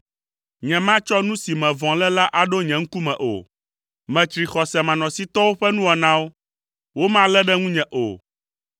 Nyematsɔ nu si me vɔ̃ le la aɖo nye ŋkume o. Metsri xɔsemanɔsitɔwo ƒe nuwɔnawo, womalé ɖe ŋunye o.